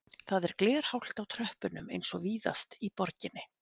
Það er glerhált á tröppunum eins og víðast í borginni